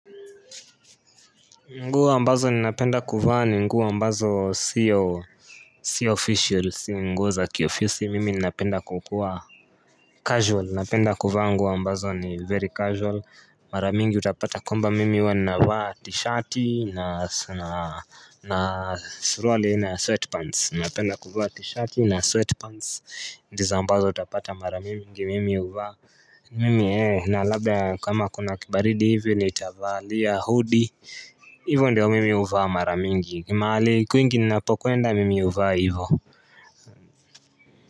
Nguo ambazo ninapenda kuvaa ni nguo ambazo siyo Siyo official si nguo za kiofisi mimi ninapenda kukuwa Casual ninapenda kuvaa nguo ambazo ni very casual maramingi utapata kwamba mimi huwa navaa t-shirt na na na suruali aina ya sweatpants ninapenda kuvaa t-shirt na sweatpants ndizo mbazo utapata maramingi mimi uvaa Mimi ee na labda kama kuna kibaridi hivyo nitavaa pia hudi hivyo ndiyo mimi huvaa maramingi mahali kwingi ninapokuenda mimi huvaa hivyo.